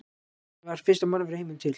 Hvernig varð fyrsta mannvera í heiminum til?